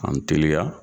An mi teliya